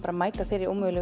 að mæta þeirri ómögulegu